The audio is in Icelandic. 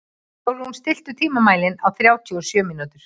Sólrún, stilltu tímamælinn á þrjátíu og sjö mínútur.